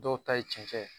Dɔw ta ye cɛn ye